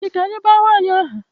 Echi ka anyị baa nwa ànyị aha